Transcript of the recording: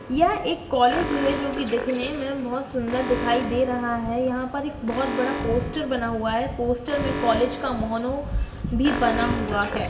यह एक कॉलेज है जो कि दिखने में बोहोत ही सुंदर दिखाई दे रहा है। यहां पर एक बोहोत बड़ा पोस्टर बना हुआ है। पोस्टर में कॉलेज का मोनो भी बना हुआ है।